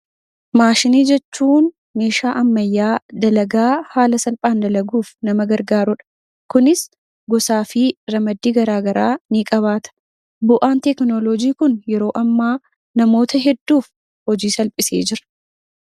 Maashinii jechuun meeshaa ammayyaa dalagaa haala salphaan dalaguuf nama gargaarudha. Kunis gosaa fi ramaddii garaagaraa ni qabaata. Bu'aan tekinooloojiin Kun, yeroo ammaa namoota hedduuf hojii salphisee jira.